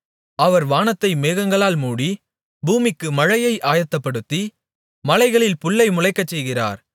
அவர் வானத்தை மேகங்களால் மூடி பூமிக்கு மழையை ஆயத்தப்படுத்தி மலைகளில் புல்லை முளைக்கச்செய்கிறார்